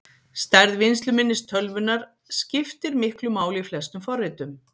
Stærð vinnsluminnis tölvunnar skiptir miklu máli í flestum forritum.